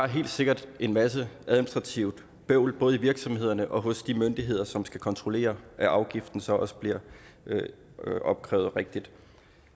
helt sikkert en masse administrativt bøvl både i virksomhederne og hos de myndigheder som skal kontrollere at afgiften så også bliver opkrævet rigtigt